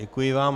Děkuji vám.